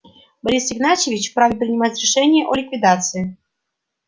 борис игнатьевич вправе принимать решения о ликвидации